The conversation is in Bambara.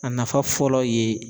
A nafa fɔlɔ ye